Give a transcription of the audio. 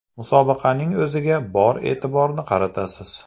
Musobaqaning o‘ziga bor e’tiborni qaratasiz.